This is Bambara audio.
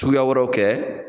Suguya wɛrɛw kɛ.